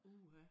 Uha